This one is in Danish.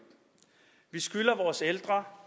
vi skylder vores ældre